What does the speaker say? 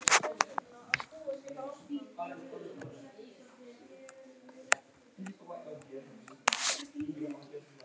En er einhver hagræðing af svona hóteli?